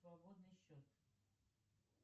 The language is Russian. свободный счет